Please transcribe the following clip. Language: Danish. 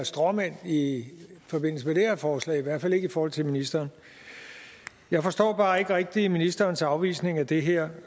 stråmænd i forbindelse med det her forslag i hvert fald ikke i forhold til ministeren jeg forstår bare ikke rigtig ministerens afvisning af det her